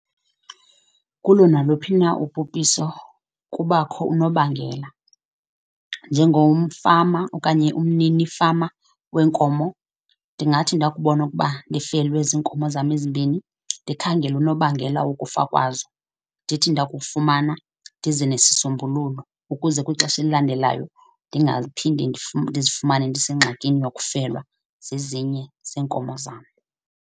Kulo naluphi na ubhubhiso kubakho unobangela. Njengomfama okanye umnini fama weenkomo ndingathi ndakubona ukuba ndifelwa ziinkomo zam ezimbini ndikhangele unobangela wokufa kwazo. Ndithi ndakufumana ndize nesisombululo ukuze kwixesha elilandelayo ndingaphinde ndizifumane ndisengxakini yokufelwa zezinye zeenkomo zam.